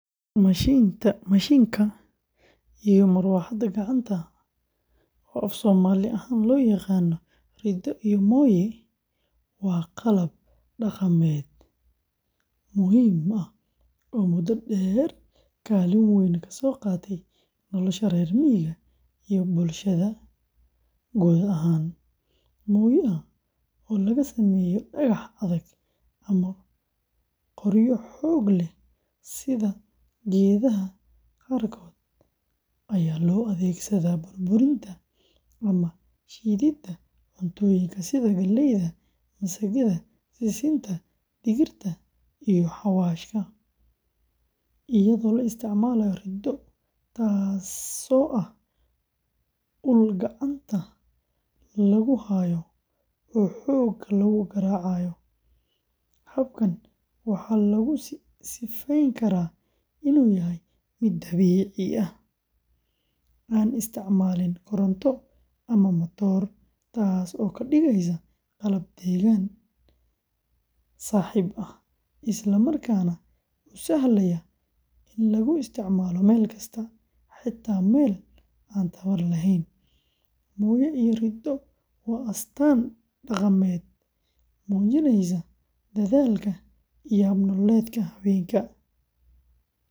Mishiinka iyo marawaxadda gacanta, oo af-Soomaali ahaan loo yaqaan riddo iyo mooye, waa qalab dhaqameed muhiim ah oo muddo dheer kaalin weyn ka soo qaatay nolosha reer miyiga iyo bulshada guud ahaan. Mooyaha, oo laga sameeyo dhagax adag ama qoryo xoog leh sida geedaha qaarkood, ayaa loo adeegsadaa burburinta ama shiididda cuntooyinka sida galleyda, masagada, sisinta, digirta iyo xawaashka, iyadoo la isticmaalayo riddo—taasoo ah ul gacanta lagu hayo oo xoogga lagu garaaco. Habkan waxaa lagu sifayn karaa inuu yahay mid dabiici ah, aan isticmaalin koronto ama matoor, taasoo ka dhigaysa qalab deegaan-saaxiib ah, isla markaana u sahlaya in lagu isticmaalo meel kasta, xataa meel aan tamar lahayn. Mooye iyo riddo waa astaan dhaqameed muujinaysa dadaalka iyo hab-nololeedka haweenka.